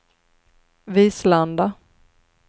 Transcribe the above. Vislanda